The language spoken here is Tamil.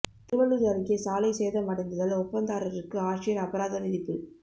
திருவள்ளூர் அருகே சாலை சேதம் அடைந்ததால் ஒப்பந்ததாரருக்கு ஆட்சியர் அபராதம் விதிப்பு